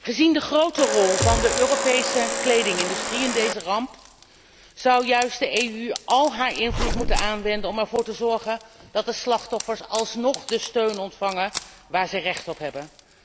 Gezien de grote rol van de Europese kledingindustrie in deze ramp zou juist de EU al haar invloed moeten aanwenden om ervoor te zorgen dat de slachtoffers alsnog de steun ontvangen waar ze recht op hebben.